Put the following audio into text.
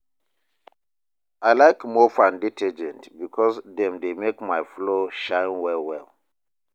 I like mop and detergent because dem dey make my floor shine well well